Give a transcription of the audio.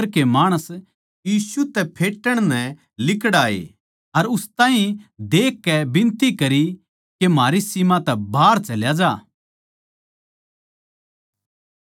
फेर सारे नगर के माणस यीशु तै फेटण नै लिक्ड़ाए अर उस ताहीं देख के बिनती करी के म्हारी सीम तै बाहर चल्या ज्या